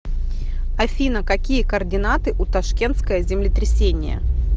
афина какие координаты у ташкентское землетрясение